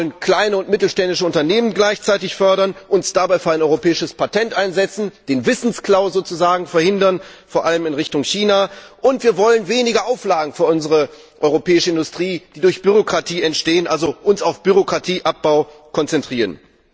Wir wollen gleichzeitig kleine und mittelständische Unternehmen fördern, uns dabei für ein europäisches Patent einsetzen, den Wissensklau verhindern, vor allem in Richtung China, und wir wollen weniger Auflagen für unsere europäische Industrie, die durch Bürokratie entstehen, uns also auf Bürokratieabbau konzentrieren.